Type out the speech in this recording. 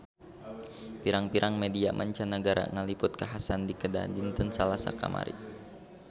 Pirang-pirang media mancanagara ngaliput kakhasan di Kedah dinten Salasa kamari